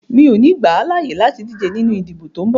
Mi o ní gbà à láàyè láti díje nínú ìdìbò tí o ń bọ̀!